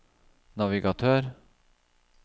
navigatør